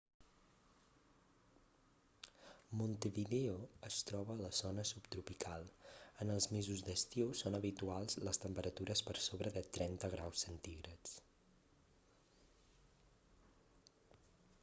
montevideo es troba a la zona subtropical. en els mesos d'estiu són habituals les temperatures per sobre de 30 °c